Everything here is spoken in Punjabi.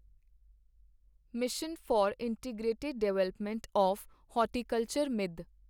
mission for integrated development of horticulture ਮਿੱਧ